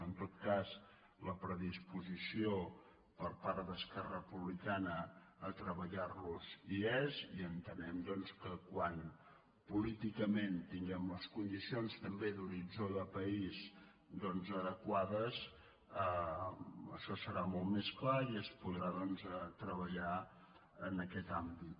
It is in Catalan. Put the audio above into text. en tot cas la predisposició per part d’esquerra republicana a treballar·los hi és i ente·nem doncs que quan políticament tinguem les con·dicions també d’horitzó de país adequades això serà molt més clar i es podrà treballar en aquest àmbit